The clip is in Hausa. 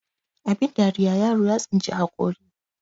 abin dariya yaro ya tsinci haƙori